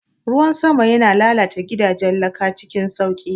Ruwan sama yana lalata gidajen laka cikin sauƙi.